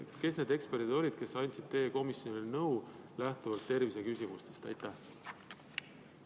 Kes need eksperdid olid, kes andsid komisjonile terviseküsimuste suhtes nõu?